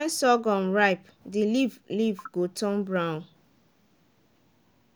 when surghum ripe the leaf leaf go turn brown